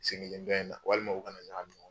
Sen kelen dɔ in na walimaw u ka na ɲagami ɲɔgɔn